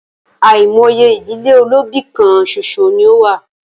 Àìmọye ìdílé olóbì kán ṣoṣo ní o wà.